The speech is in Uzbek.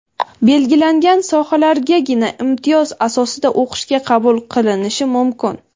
belgilangan sohalargagina imtiyoz asosida o‘qishga qabul qilinishi mumkin.